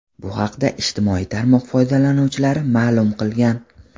Bu haqda ijtimoiy tarmoq foydalanuvchilari ma’lum qilgan.